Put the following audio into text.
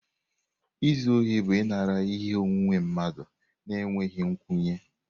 Izu ohi bụ ịnara ihe onwunwe mmadụ n'enweghị nkwenye.